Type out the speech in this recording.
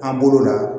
An bolo la